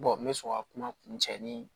n bɛ sɔrɔ ka kuma kun cɛ ni